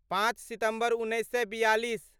पाँच सितम्बर उन्नैस सए बिआलिस